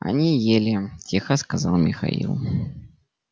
они ели тихо сказал михаил